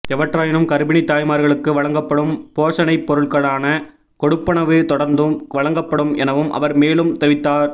எவ்வாறாயினும் கர்ப்பிணித் தாய்மார்களுக்கு வழங்கப்படும் போஷணைப் பொருட்களுக்கான கொடுப்பனவு தொடர்ந்தும் வழங்கப்படும் எனவும் அவர் மேலும் தெரிவித்தார்